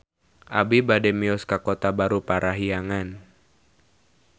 Abi bade mios ka Kota Baru Parahyangan